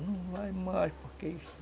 Não vai mais porque isso.